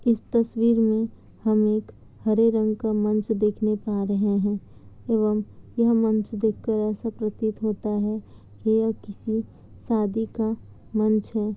इस तस्वीर में हम एक हरे रंग का मंच देखने पा रहे है एवं यह मंच देख कर ऐसा प्रतीत होता है की यह किसी शादी का मंच है।